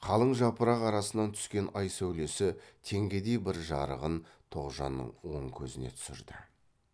қалың жапырақ арасынан түскен ай сәулесі теңгедей бір жарығын тоғжанның оң көзіне түсірді